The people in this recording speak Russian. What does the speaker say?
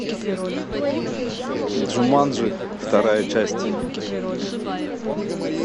джуманджи вторая часть